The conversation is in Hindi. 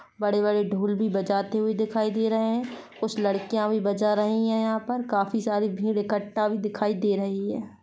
बड़े बड़े ढोल भी बजाते दिखाई दे रहे हैं कुछ लड़कियां भी बजा रही हैं यहाँ पर काफी सारा भीड़ इककट्ठा भी दिखाई दे रही हैं।